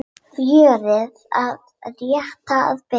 Fjörið er rétt að byrja!